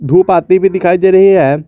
कूप आती भी दिखाई दे रही हैं।